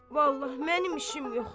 Vallah, mənim işim yoxdur.